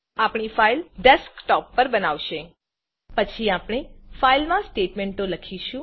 આપણી ફાઈલડેસ્કટૉપ પર બનાવાશે પછી આપણે ફાઇલમાં સ્ટેટમેન્ટો લખીશું